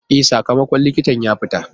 E, sakamakon likita ya fita.